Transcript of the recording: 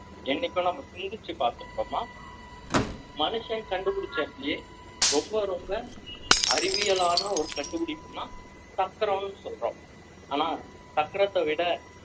என்னைக்கோ நம்ம சிந்திச்சு பார்த்திருக்கோமா மனுஷன் கண்டுபிடிச்சாச்சு ரொம்ப ரொம்ப அறிவியலான ஒரு கண்டுபிடிப்புதான் சக்கரம்னு சொல்றோம் ஆனா சக்கரத்தை விட